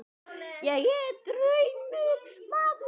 Ég er dæmdur maður.